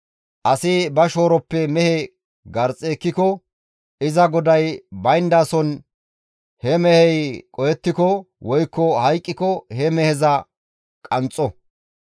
«Asi ba shooroppe mehe garxxi ekkiko iza goday bayndason he mehey qohettiko woykko hayqqiko he meheza gishshas qanxxo.